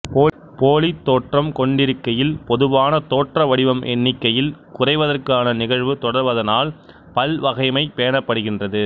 போலித்தோற்றம் கொண்டிருக்கையில் பொதுவான தோற்ற வடிவம் எண்ணிக்கையில் குறைவதற்கான நிகழ்வு தொடர்வதனால் பல்வகைமை பேணப்படுகின்றது